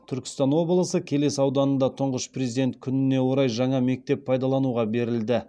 түркістан облысы келес ауданында тұңғыш президент күніне орай жаңа мектеп пайдалануға берілді